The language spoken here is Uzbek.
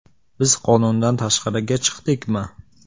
Biz qonundan tashqariga chiqdikmi?